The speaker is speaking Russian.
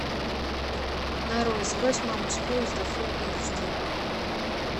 нарой сбрось маму с поезда фул эйч ди